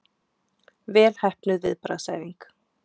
Vel heppnuð viðbragðsæfing